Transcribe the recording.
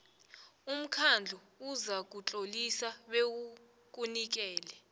umkhandlu uzakutlolisa bewukunikele